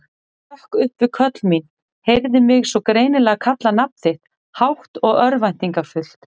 Hrökk upp við köll mín, heyrði mig svo greinilega kalla nafn þitt, hátt og örvæntingarfullt.